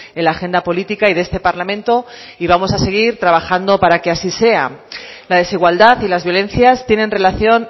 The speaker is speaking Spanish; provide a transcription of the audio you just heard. en la agenda política y de este parlamento y vamos a seguir trabajando para que así sea la desigualdad y las violencias tienen relación